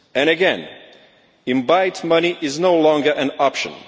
And again, to invite money is no longer an option.